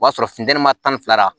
O b'a sɔrɔ funteni ma tan ni fila la